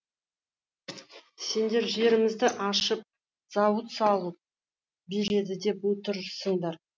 сендер жерімізді ашып зауыт салып береді деп отырсыңдар